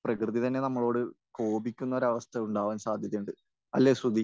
പ്രകൃതി തന്നെ നമ്മളോട് കോപിക്കുന്ന ഒരവസ്ഥ ഉണ്ടാകാൻ സാധ്യതയുണ്ട്. അല്ലെ, ശ്രുതി?